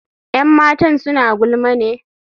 Yan matan suna gulma ne?